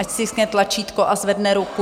Ať stiskne tlačítko a zvedne ruku.